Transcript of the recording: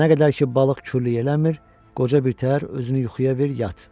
Nə qədər ki balıq kürlü eləmir, qoca birtəhər özünü yuxuya ver, yat.